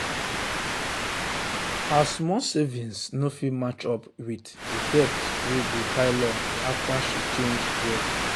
her small savings no fit match up with the debt wey dey pile up after she change work.